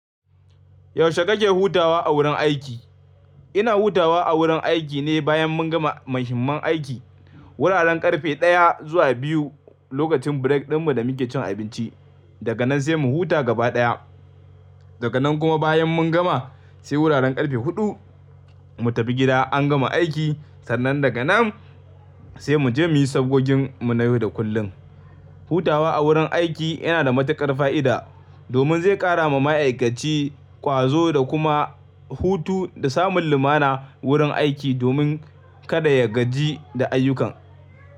Yaushe kake hutawa a wurin aiki? Ina hutawa a wurin aiki ne bayan mun gama muhimman aiki. Wuraren ƙarfe ɗaya zuwa biyu lokacin break ɗinmu da muke cin abinci. Daga nan sai mu huta gaba ɗaya. Daga nan kuma bayan mun gama sai wuraren ƙarfe huɗu mu tafi gida an gama aiki. Sannan daga nan sai mu je muyi sabgogin mu na yau da kullum. Hutawa a wurin aiki yana da matuƙar fa'ida domin zai ƙara ma ma'aikaci ƙwazo da kuma hutu da samun lumana wurin aiki domin kada ya gaji da ayyukan.